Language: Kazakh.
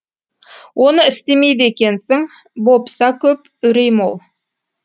оны істемейді екенсің бопса көп үрей мол